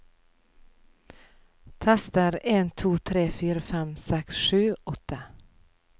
Tester en to tre fire fem seks sju åtte